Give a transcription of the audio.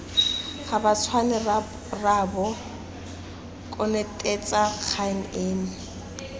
gabatshwane rraabo konotetsa kgang eno